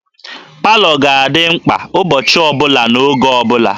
Palọ ga-adị mkpa ụbọchị ọ bụla n'oge ọ bụla